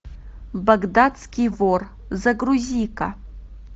багдадский вор загрузи ка